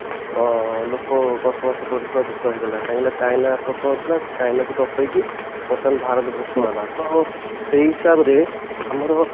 ଅ ଲୋକ ବସବାସ କରୁଥିବା ଦୋଷ ହେଇଗଲା କାହିଁକି ନା ଚାଇନା ପ୍ରଥମ ଥିଲା ଚାଇନା କୁ ଟପେଇକି ବର୍ତମାନ ଭରତ ପ୍ରଥମ ହେଲା ତ ସେଇ ହିସାବ ରେ ଆମର